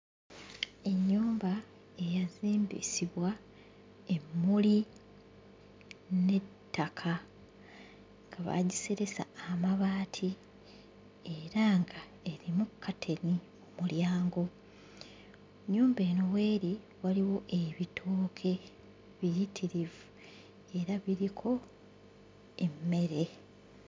Ennyumba eyazimbisibwa emmuli n'ettaka nga baagiseresa amabaati era ng'erimu kkateni mu mulyango. Ennyumba eno w'eri waliwo ebitooke biyitirivu era biriko emmere.